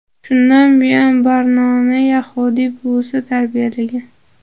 Shundan buyon Barnoni yahudiy buvisi tarbiyalagan.